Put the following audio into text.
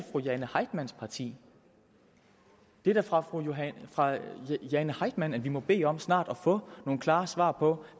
fru jane heitmanns parti det er da fra fru jane heitmann vi må bede om snart at få nogle klare svar på